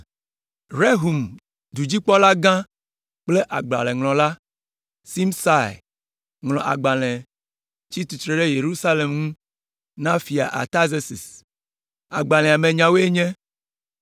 Rehum dudzikpɔlagã kple agbalẽŋlɔla, Simsai, ŋlɔ agbalẽ tsi tsitre ɖe Yerusalem ŋu na Fia Artazerses. Agbalẽa me nyawoe nye: